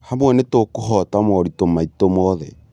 Hamwe , nĩtũkũhoota moritũ maitũ mothe.